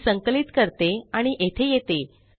मी संकलित करते आणि येथे येते